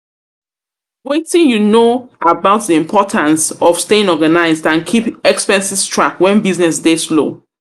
Wetin you know about di importance of staying organized and keep expenses track when business dey slow?